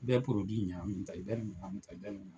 I bɛ ɲagami ta, i bɛ ni ɲagami min tan, an bɛ ni ɲagami